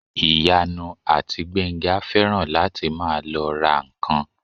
Ìyanu àti Gbénga fẹ́ràn láti máa lọ ra ǹkan